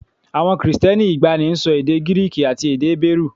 Àwọn Kristẹni ìgbàanì ń sọ èdè Gíríìkì àti èdè Hébérù